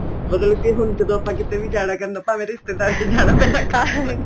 ਮਤਲਬ ਕੇ ਹੁਣ ਜਦੋਂ ਆਪਾਂ ਕਿੱਥੇ ਵੀ ਜਾਣਾ ਕਰਨਾ ਭਾਵੇਂ ਰਿਸਤੇਦਾਰੀ ਚ ਜਾਣਾ ਪੈਣਾ card